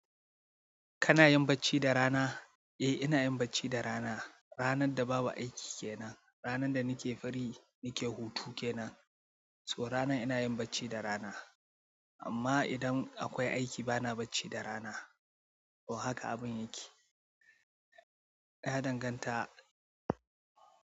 Kana yin bacci da rana? Eh ina yin bacci da rana. Ranan da babu aiki kenan. Ranan da nake free, nake hutu ke nan. So ranan ina yin bacci da rana. Amma idan akwai aiki bana bacci da rana. Oh haka abin yake. Ya danganta.